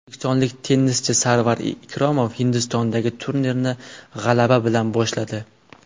O‘zbekistonlik tennischi Sarvar Ikromov Hindistondagi turnirni g‘alaba bilan boshladi.